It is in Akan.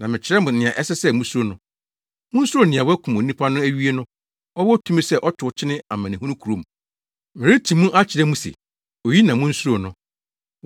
Na mɛkyerɛ mo nea ɛsɛ sɛ musuro no. Munsuro nea wakum onipadua no awie no, ɔwɔ tumi sɛ ɔtow kyene amanehunu kurom. Mereti mu akyerɛ mo se, oyi na munsuro no.